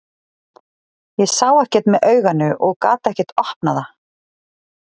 Ég sá ekkert með auganu og gat ekkert opnað það.